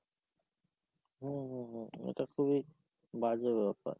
হম, হম, এটা খুবই বাজে ব্যাপার।